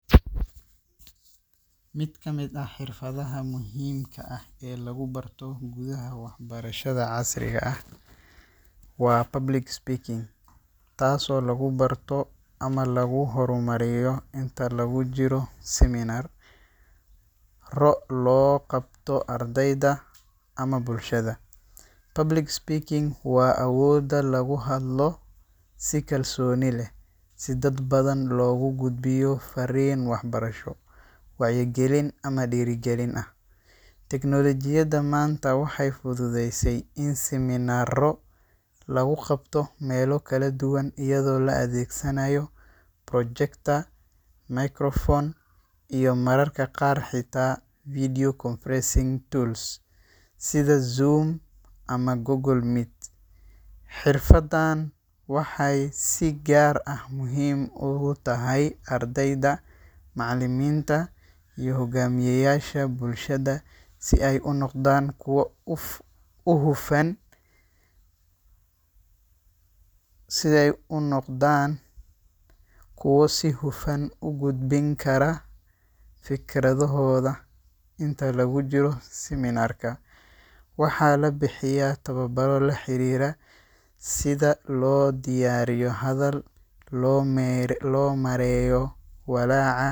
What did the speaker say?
Mid ka mid ah xirfadaha muhiimka ah ee lagu barto gudaha waxbarashada casriga ah waa public speaking, taasoo lagu barto ama lagu horumariyo inta lagu jiro seminar-ro loo qabto ardayda ama bulshada. Public speaking waa awoodda lagu hadlo si kalsooni leh, si dad badan loogu gudbiyo farriin waxbarasho, wacyigelin ama dhiirrigelin ah. Tignoolajiyada maanta waxay fududeysay in seminar-ro lagu qabto meelo kala duwan iyadoo la adeegsanayo projector, microphone, iyo mararka qaar xitaa video conferencing tools sida Zoom ama Google Meet. Xirfaddan waxay si gaar ah muhiim ugu tahay ardayda, macallimiinta, iyo hogaamiyeyaasha bulshada si ay u noqdaan kuwo uf u hufan sidhay unoqdaan kuwo si hufan u gudbin kara fikradahooda. Inta lagu jiro seminar-ka, waxaa la bixiyaa tababarro la xiriira sida loo diyaariyo hadal, loo meer lo maareeyo walaaca.